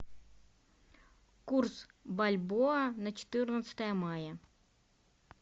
курс бальбоа на четырнадцатое мая